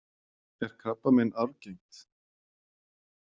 Er krabbamein arfgengt?